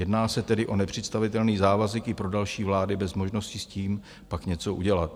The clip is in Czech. Jedná se tedy o nepředstavitelný závazek i pro další vlády bez možnosti s tím pak něco udělat.